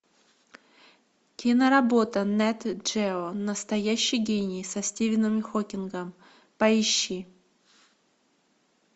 киноработа нет джео настоящий гений со стивеном хокингом поищи